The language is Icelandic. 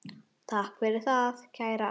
Takk fyrir það, kæra amma.